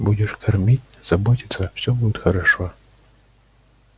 будешь кормить заботиться всё будет хорошо